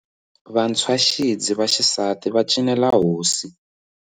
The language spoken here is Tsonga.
Vantshwaxidzi va xisati va cinela hosi.